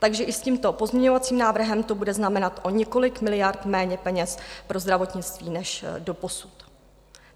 Takže i s tímto pozměňovacím návrhem to bude znamenat o několik miliard méně peněz pro zdravotnictví než doposud.